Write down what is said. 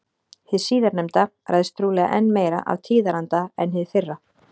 Hið síðarnefnda ræðst trúlega enn meira af tíðaranda en hið fyrra.